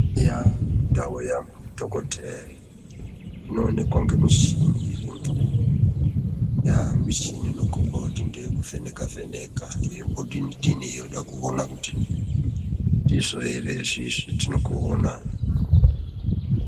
Mundau yadhokotheya inoonekwa ngemichini irimo, michini inokhomba kuti ngeyekuvheneka vheneka yombodini dini yoda kuona kuti ndizvo ere izvi zvetiri kuona.